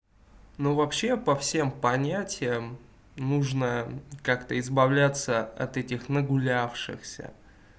ну вообще по всем понятиям нужно как-то избавляться от этих нагулявшихся